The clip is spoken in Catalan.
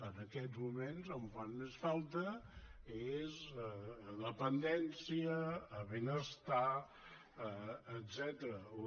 en aquests moments on fan més falta és a dependència a benestar etcètera